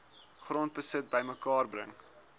grondbesit bymekaar bring